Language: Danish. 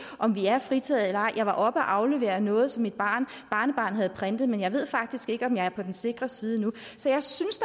om vi er fritaget eller ej jeg var oppe at aflevere noget som mit barnebarn havde printet men jeg ved faktisk ikke om jeg er på den sikre side nu så jeg synes